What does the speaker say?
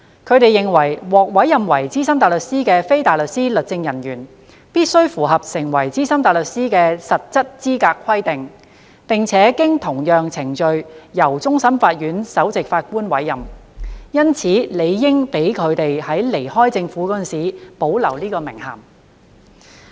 他們認為，獲委任為資深大律師的非大律師律政人員必須符合成為資深大律師的實質資格規定，並且經同樣程序由終審法院首席法官委任，因此理應讓他們在離開政府時保留此名銜。